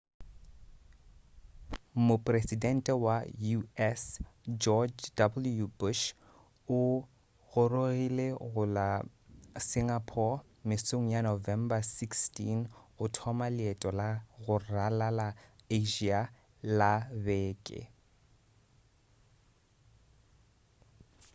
mopresidente wa u.s. george w bush o gorogile go la singapore mesong ya november 16 go thoma leeto la go ralala asia la beke